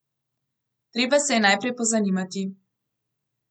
Treba se je najprej pozanimati.